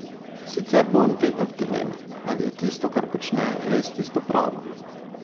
Sicer bo on vedno v dilemi, ali je tisto, kar počne, res tisto pravo.